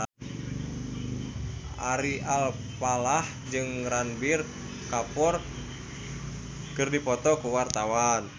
Ari Alfalah jeung Ranbir Kapoor keur dipoto ku wartawan